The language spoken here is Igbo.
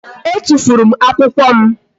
E tụfuru m akwụkwọ m